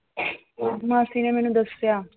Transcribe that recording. ਮਾਸੀ ਨੇ ਮੈਨੂੰ ਦੱਸਿਆl